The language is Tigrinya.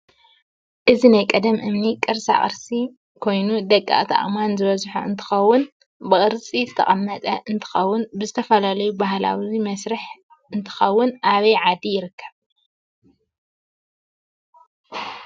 እዚ ናይ ቀደም እምኒ ቅርሳቅርስ ኮይኑ ደቀቅቲ አእማአን ዝበዝሖ እንትከውን ብቅርፂ ዝተቀመጠ እንትከውን ንዝተፉላለዪ ባህላው መስረሕ እንትከውን አበይ ዓዲ ይርከብ?